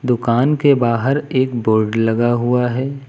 दुकान के बाहर एक बोर्ड लगा हुआ है।